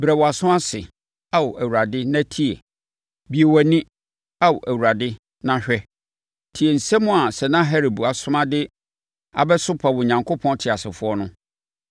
Brɛ wʼaso ase, Ao Awurade, na tie! Bue wʼani, Ao Awurade, na hwɛ. Tie nsɛm a Sanaherib asoma de abɛsopa Onyankopɔn teasefoɔ no.